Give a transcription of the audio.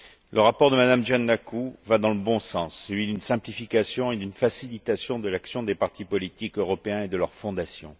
Le rapport de Mme Giannakou va dans le bon sens, celui d'une simplification et d'une facilitation de l'action des partis politiques européens et de leurs fondations.